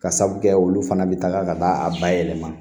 Ka sabu kɛ olu fana bɛ taga ka taa a bayɛlɛma